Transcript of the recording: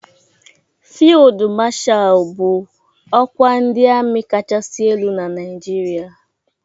Fịldu Mashalu bụ ọkwa ndị ami kachasị elu na Naijiria.